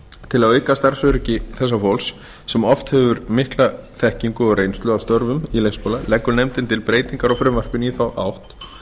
til að auka starfsöryggi þegar hóps sem oft hefur mikla þekkingu á störfum í leikskóla leggur nefndin til breytingar á frumvarpinu í þá átt